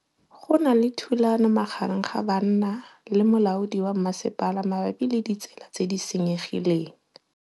Go na le thulanô magareng ga banna le molaodi wa masepala mabapi le ditsela tse di senyegileng.